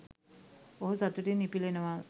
ඔහු සතුටින් ඉපිලෙනවා